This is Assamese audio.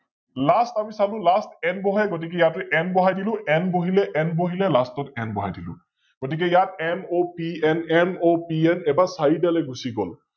Last আমি চালো LastN বহে গতিকে ইয়াতো N বহাই দিলো N বহিলে N বহিলে Last ত N বহাই দিলো । গতিকে NOPNNOPN এইবাৰ চাৰিটালৈ গুছি গল।